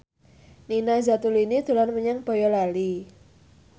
Nina Zatulini dolan menyang Boyolali